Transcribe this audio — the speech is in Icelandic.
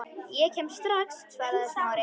Ég kem strax- svaraði Smári.